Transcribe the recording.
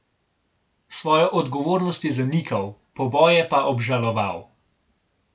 Svojo odgovornost je zanikal, poboje pa obžaloval.